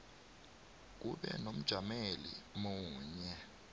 kube nomjameli munye